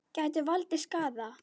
Gætu valdið skaða.